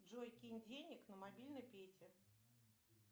джой кинь денег на мобильный пете